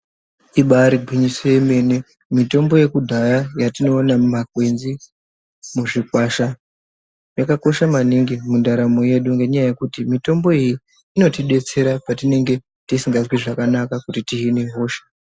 Imbari gwinyiso yemene mutombo yekudhaya yatinoona mumakwenzi muzvikwasha yakakosha maningi mundaramo yedu ngenyaya yekuti mitombo iyi inotidetsera patinenge tisingazwi zvakanaka kuti tihine hosha.